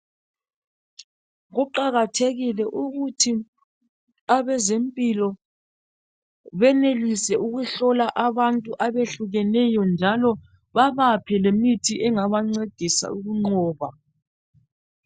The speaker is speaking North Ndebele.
Kuqakathekile ukuthi abezempilo benelise ukuhlola abantu abehlukeneyo. Njalo babaphe lemithi engabancedisa ukunqoba.